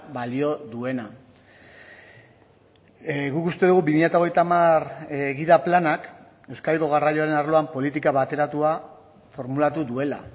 balio duena guk uste dugu bi mila hogeita hamar gida planak euskadiko garraioaren arloan politika bateratua formulatu duela